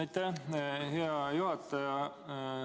Aitäh, hea juhataja!